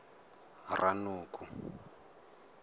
ranoko